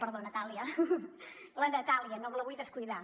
perdó natàlia la natàlia no me la vull descuidar